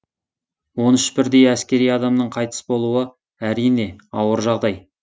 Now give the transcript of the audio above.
он үш бірдей әскери адамның қайтыс болуы әрине ауыр жағдай